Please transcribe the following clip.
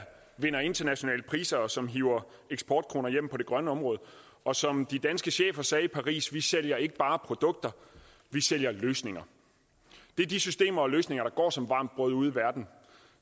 vinder internationale priser og som hiver eksportkroner hjem på det grønne område og som de danske chefer sagde i paris vi sælger ikke bare produkter vi sælger løsninger det er de systemer og løsninger der går som varmt brød ude i verden